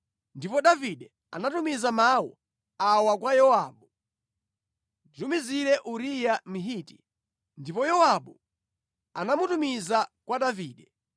Ndipo Davide anatumiza mawu awa kwa Yowabu: “Nditumizire Uriya Mhiti.” Ndipo Yowabu anamutumiza kwa Davide.